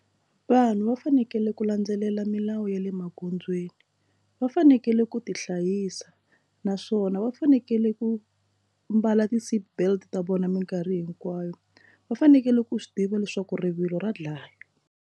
Vanhu va fanekele ku landzelela milawu ya le magondzweni va fanekele ku ti hlayisa naswona va fanekele ku mbala ti seatbelt ta vona minkarhi hinkwayo va fanekele ku swi tiva leswaku rivilo ra dlaya.